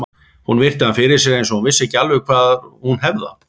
Hún virti hann fyrir sér eins og hún vissi ekki alveg hvar hún hefði hann.